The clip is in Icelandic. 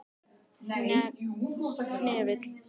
Hnefill